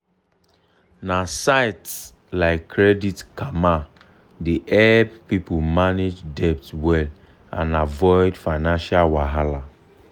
na sites like credit karma dey help people manage debt well and avoid financial wahala.